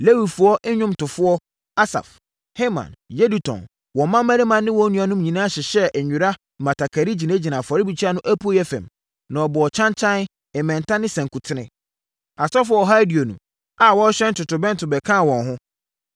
Lewifoɔ nnwomtofoɔ, Asaf, Heman, Yedutun, wɔn mmammarima ne wɔn nuanom nyinaa hyehyɛɛ nwera mmatakari gyinagyinaa afɔrebukyia no apueeɛ fam, na wɔbɔɔ kyankyan, mmɛnta ne nsankuten. Asɔfoɔ ɔha aduonu a wɔrehyɛn totorobɛnto bɛkaa wɔn ho.